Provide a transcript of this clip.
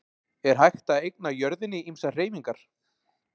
Er hægt að eigna jörðinni ýmsar hreyfingar?